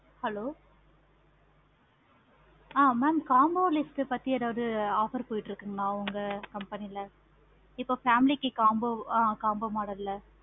hello hello mam combo list பத்தி ஏதாவது offer போய்கிட்டு இருக்க உங்க company ல இப்ப family க்கு combo வ mam combo model ல